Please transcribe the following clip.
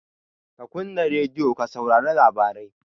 Ka kunna radiyo ka saurari labarai!